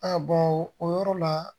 A o yɔrɔ la